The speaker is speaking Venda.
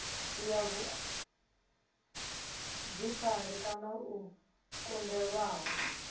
ya vhuḓifari kana o kundelwaho